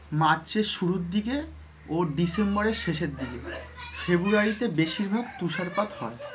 March এর শুরুর দিকে ও december এর শেষের দিকে february তে বেশিরভাগ তুষারপাত হয়,